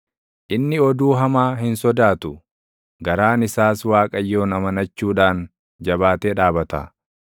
Inni oduu hamaa hin sodaatu; garaan isaas Waaqayyoon amanachuudhaan // jabaatee dhaabata.